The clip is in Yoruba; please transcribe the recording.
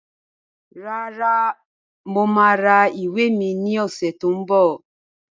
Rárá, mo máa ra ìwé mi ní ọ̀sẹ̀ tí ó ń bọ̀